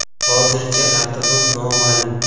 Hozircha raqibim noma’lum.